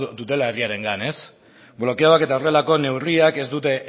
dutela egiarengan blokeoak eta horrelako neurriak ez dute